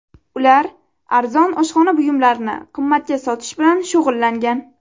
Ular arzon oshxona buyumlarini qimmatga sotish bilan shug‘ullangan.